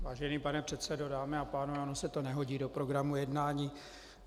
Vážený pane předsedo, dámy a pánové, ono se to nehodí do programu jednání.